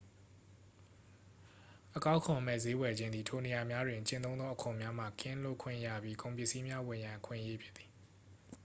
အကောက်ခွန်မဲ့ ဈေးဝယ်ခြင်းသည် ထိုနေရာများတွင် ကျင့်သုံးသော အခွန်များမှ ကင်းလွတ်ခွင့်ရပြီး ကုန်ပစ္စည်းများဝယ်ရန် အခွင့်အရေးဖြစ်သည်